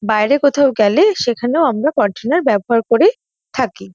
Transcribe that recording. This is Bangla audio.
বাইরে কোথাও গেলে সেখানেও আমরা কন্টেনার ব্যবহার করে থাকি।